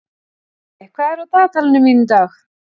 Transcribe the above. Gummi, hvað er á dagatalinu mínu í dag?